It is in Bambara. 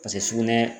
Paseke sugunɛ